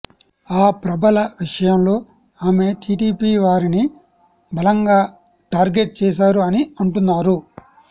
ఆ ప్రభల విషయంలో ఆమె టీడీపీ వారిని బలంగా టార్గెట్ చేసారు అని అంటున్నారు